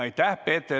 Aitäh!